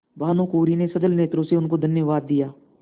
भानुकुँवरि ने सजल नेत्रों से उनको धन्यवाद दिया